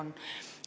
Aeg!